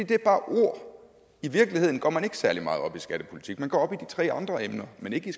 det er bare ord i virkeligheden går man ikke særlig meget op i skattepolitik man går op i de tre andre emner men ikke